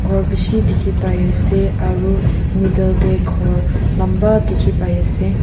khor bishi dikhipaiase aru middle tae khor lamba dikhiase.